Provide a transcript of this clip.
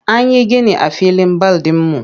An yi gini a filin bal ɗinmu.